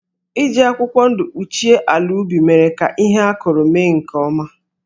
Iji akwụkwọ ndụ kpuchie ala ubi mere ka ihe a kụrụ mee nke ọma.